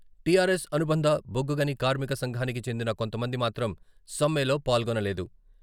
T R S అనుబంధ బొగ్గుగని కార్మిక సంఘానికి చెందిన కొంతమంది మాత్రం సమ్మెలో పాల్గొనలేదు.